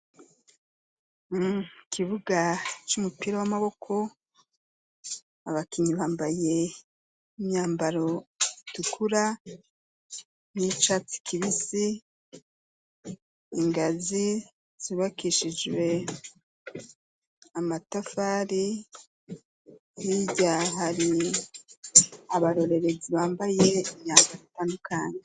Ikibuga c'umupira w'amaboko, abakinyi bambaye imyambaro itukura n'icatsi kibisi, ingazi zubakishijwe amatafari, hirya hari abarorerezi bambaye imyambaro itandukanye.